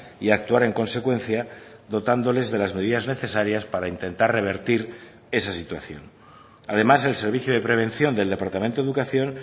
y actuar en consecuencia dotándoles de las medidas necesarias para intentar revertir esa situación además el servicio de prevención del departamento de educación